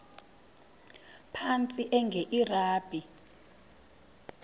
phantsi enge lrabi